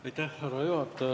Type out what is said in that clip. Härra juhataja!